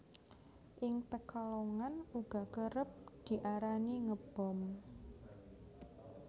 Ing Pekalongan uga kerep diarani Ngebom